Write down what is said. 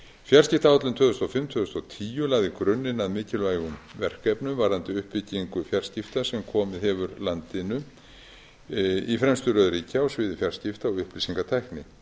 fjarskiptaáætlun tvö þúsund og fimm til tvö þúsund og tíu lagði grunninn að mikilvægum verkefnum varðandi uppbyggingu fjarskipta sem komið hefur landinu í fremstu röð ríkja á sviði fjarskipta og upplýsingatækni